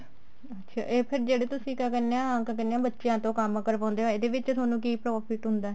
ਅੱਛਿਆ ਇਹ ਫ਼ੇਰ ਜਿਹੜੇ ਤੁਸੀਂ ਕਹਿਨੇ ਹੋ ਕਿਆ ਕਹਿਨੇ ਆ ਬੱਚਿਆਂ ਤੋਂ ਕੰਮ ਕਰਵਾਉਂਦੇ ਹੋ ਇਹਦੇ ਵਿੱਚ ਥੋਨੂੰ ਕੀ profit ਹੁੰਦਾ